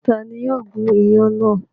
Ta ni yóò gún iyán náà?